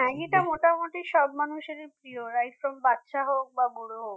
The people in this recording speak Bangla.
ম্যাগিটা মোটামুটি সব মানুষের প্রিয় right from বাচ্চা হোক বা বুড়ো হোক